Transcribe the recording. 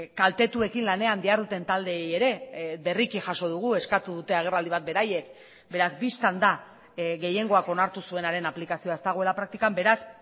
kaltetuekin lanean diharduten taldeei ere berriki jaso dugu eskatu dute agerraldi bat beraiek beraz bistan da gehiengoak onartu zuenaren aplikazioa ez dagoela praktikan beraz